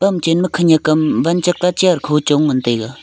kam chen ma khenk am van sak la chair kha ma chong ngan taiga.